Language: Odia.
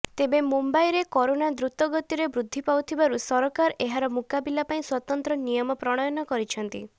ତେବେ ମୁମ୍ବାଇରେ କରୋନା ଦ୍ରୁତଗତିରେ ବୃଦ୍ଧି ପାଉଥିବାରୁ ସରକାର ଏହାର ମୁକାବିଲା ପାଇଁ ସ୍ୱତନ୍ତ୍ର ନିୟମ ପ୍ରଣୟନ କରିଛନ୍ତି